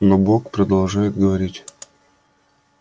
но бог продолжает говорить